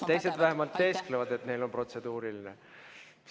Riina, teised vähemalt teesklevad, et neil on protseduuriline märkus.